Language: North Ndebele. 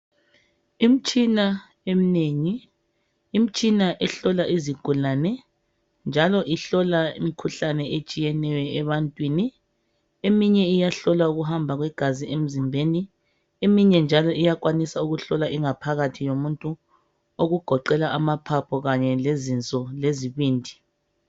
Imtshina emnengi, imtshina ehlola izigulane njalo ihlola imkhuhlane etshiyeneyo ebantwini eminye iyahlola ukuhamba kwegazi emzimbeni ,eminye alo iyakwanisa ukuhlola ingaphakathi yomuntu, okugoqela amaphaphu kanye lezinso lezibindi.